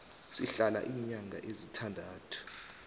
sihlala iinyanga ezintandathu